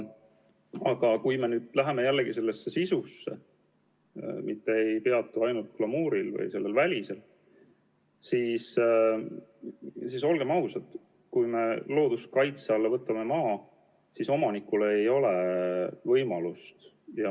Aga kui me süveneme asja sisusse, mitte ei peatu ainult glamuuril või sellel välisel, siis, olgem ausad, kui me võtame maa looduskaitse alla, siis omanikul ei ole erilisi võimalusi.